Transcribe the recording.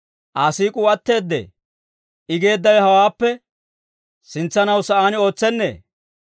Aa siik'uu atteedee? I geeddawe hawaappe sintsanaw sa'aan ootsenee?